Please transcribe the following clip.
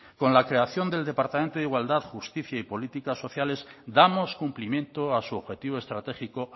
con la creación del departamento de igualdad justicia y políticas sociales damos cumplimiento a su objetivo estratégico